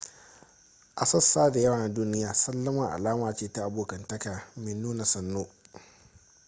a sassa da yawa na duniya sallama alama ce ta abokantaka mai nuna sannu